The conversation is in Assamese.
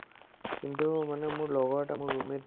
কিন্তু মানে মোৰ লগৰ এটা মোৰ roommate